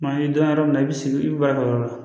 Maa ye don dɔ yɔrɔ min na i bɛ sigi i bɛ baara kɛ yɔrɔ la